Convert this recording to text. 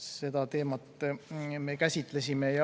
Seda teemat me käsitlesime.